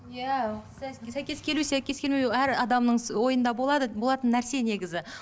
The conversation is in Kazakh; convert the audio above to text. иә сәйкес келу сәйкес келмеу әр адамның ойында болады болатын нәрсе негізі